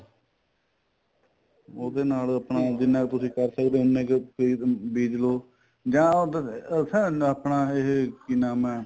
ਉਹਦੇ ਨਾਲ ਆਪਣਾ ਜਿੰਨਾ ਕ ਤੁਸੀਂ ਕਰ ਸਕਦੇ ਓ ਉਨੇ ਕਈ ਬੀਜਲੋ ਜਾਂ ਉਹ ਆਪਣਾ ਇਹ ਕੀ ਨਾਮ ਏ